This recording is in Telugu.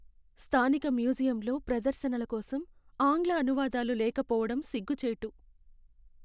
స్థానిక మ్యూజియంలో ప్రదర్శనల కోసం ఆంగ్ల అనువాదాలు లేకపోవడం సిగ్గుచేటు.